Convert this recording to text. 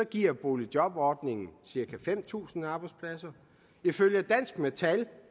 giver boligjobordningen cirka fem tusind arbejdspladser ifølge dansk metal